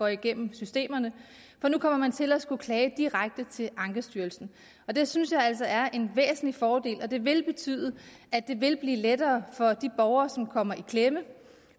igennem systemerne for nu kommer man til at skulle klage direkte til ankestyrelsen det synes jeg altså er en væsentlig fordel og det vil betyde at det vil blive lettere for de borgere som kommer i klemme